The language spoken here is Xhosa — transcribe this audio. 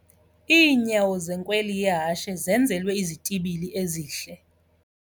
Iinyawo zenkweli yehashe zenzelwe izitibili ezihle.